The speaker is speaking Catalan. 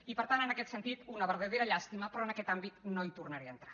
i per tant en aquest sentit una verdadera llàstima però en aquest àmbit no hi tornaré a entrar